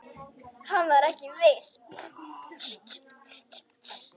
Hann var ekki viss.